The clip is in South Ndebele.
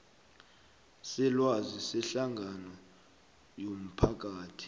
selwazi sehlangano yomphakathi